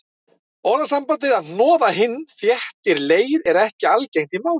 Orðasambandið að hnoða hinn þétta leir er ekki algengt í málinu.